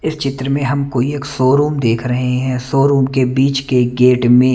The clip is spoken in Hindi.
इस चित्र मे हमको एक शोरूम देख रहे हैं शोरूम के बीच के गेट में--